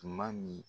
Tuma min